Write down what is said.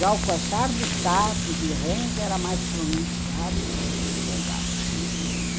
Já o coaxar dos sapos e rãs era mais pronunciado no período das águas.